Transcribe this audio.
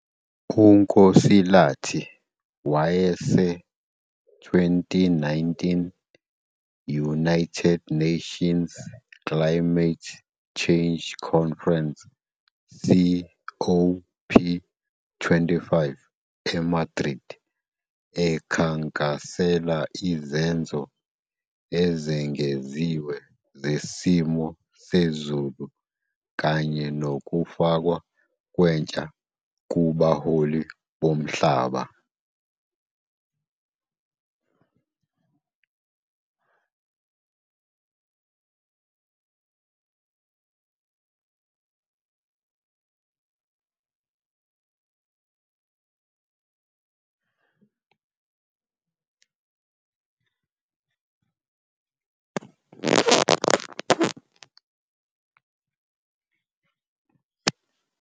UNkosilathi wayese- 2019 United Nations Climate Change Conference COP25 eMadrid ekhankasela izenzo ezengeziwe zesimo sezulu kanye nokufakwa kwentsha kubaholi bomhlaba.